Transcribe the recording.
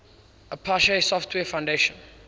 apache software foundation